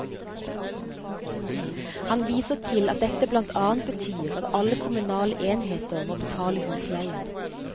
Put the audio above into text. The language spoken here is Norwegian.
Han viser til at dette blant annet betyr at alle kommunale enheter må betale husleie.